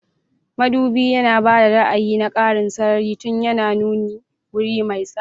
Madubin yana ba da ra'ayi na ƙarin sarari tun yana nuna wuri mai tsari.